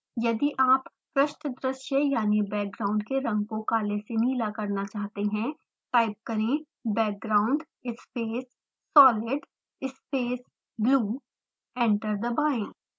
यदि आप पृष्ठदृश्य यानि बैकग्राउंड के रंग को काले से नीला करना चाहते हैं टाइप करें: background space solid space blue